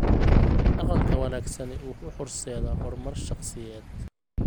Dhaqanka wanaagsani wuxuu horseedaa horumar shaqsiyeed.